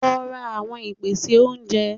Lo ra àwon ìpèsè oúnje